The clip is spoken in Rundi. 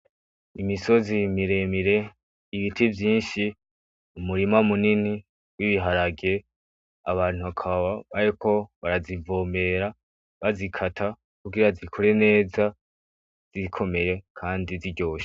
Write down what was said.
Imisozi miremire, ibiti vyinshi, umurima munini w'ibiharage abantu bakaba bariko barazivomera bazikata kugira zikure neza zikomeye kandi ziryoshe.